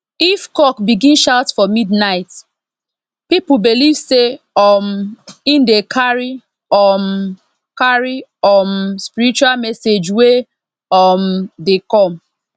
if cock begin shout for midnight people believe say um e dey carry um carry um spiritual message wey um dey come